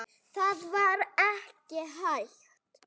Það var ekki hægt.